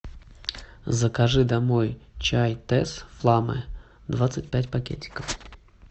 закажи домой чай тесс фламе двадцать пять пакетиков